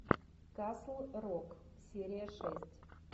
касл рок серия шесть